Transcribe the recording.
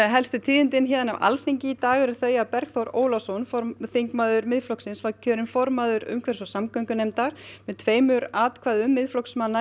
helstu tíðindi af Alþingi hér í dag eru þau að Bergþór Ólason þingmaður Miðflokksins var í kjörinn formaður umhverfis og samgöngunefndar með tveimur atkvæðum Miðflokksmanna